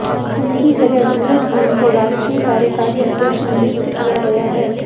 उनकी जगह सूरजभान को राष्ट्रीय कार्यकारी अध्यक्ष नियुक्त किया गया है